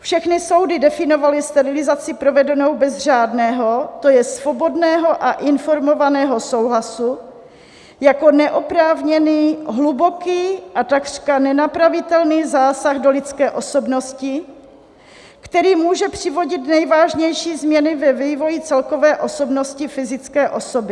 Všechny soudy definovaly sterilizaci provedenou bez řádného, to je svobodného a informovaného souhlasu, jako neoprávněný, hluboký a takřka nenapravitelný zásah do lidské osobnosti, který může přivodit nejvážnější změny ve vývoji celkové osobnosti fyzické osoby.